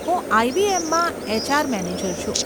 હું આઈબીએમમાં HR manager છું.